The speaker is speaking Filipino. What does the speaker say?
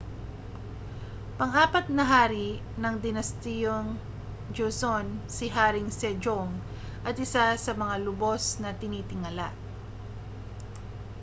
pang-apat na hari ng dinastiyang joseon si haring sejong at isa sa mga lubos na tinitingala